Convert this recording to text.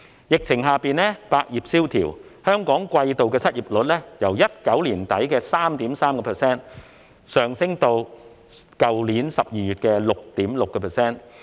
疫情下，百業蕭條，香港季度失業率由2019年年底的 3.3% 上升至去年12月的 6.6%。